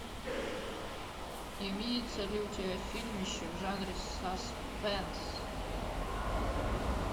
имеется ли у тебя фильмище в жанре саспенс